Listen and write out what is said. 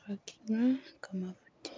khakinywa kamafuki.